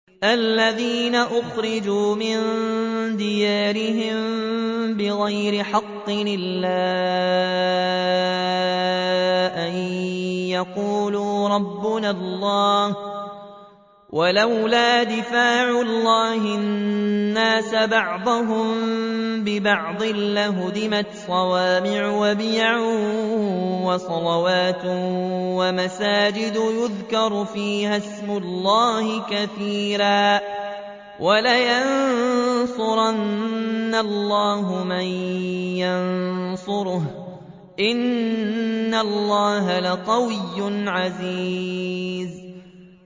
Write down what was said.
الَّذِينَ أُخْرِجُوا مِن دِيَارِهِم بِغَيْرِ حَقٍّ إِلَّا أَن يَقُولُوا رَبُّنَا اللَّهُ ۗ وَلَوْلَا دَفْعُ اللَّهِ النَّاسَ بَعْضَهُم بِبَعْضٍ لَّهُدِّمَتْ صَوَامِعُ وَبِيَعٌ وَصَلَوَاتٌ وَمَسَاجِدُ يُذْكَرُ فِيهَا اسْمُ اللَّهِ كَثِيرًا ۗ وَلَيَنصُرَنَّ اللَّهُ مَن يَنصُرُهُ ۗ إِنَّ اللَّهَ لَقَوِيٌّ عَزِيزٌ